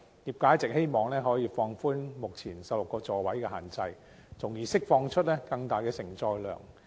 業界一直希望政府能夠放寬目前16個座位的限制，從而釋放出更大承載量。